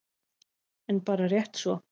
En bara rétt svo.